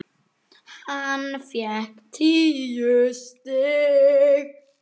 Hann fékk tíu stig.